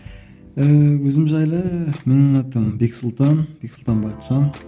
ііі өзім жайлы менің атым бексұлтан бексұлтан бақытжан